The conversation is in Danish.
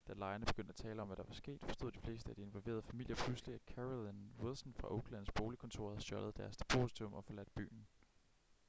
da lejerne begyndte at tale om hvad der var sket forstod de fleste af de involverede familier pludselig at carolyn wilson fra oaklands boligkontor havde stjålet deres depositum og forladt byen